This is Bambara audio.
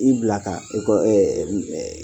I bila ka ekɔ